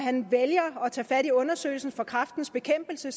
vælger at tage fat i undersøgelsen fra kræftens bekæmpelse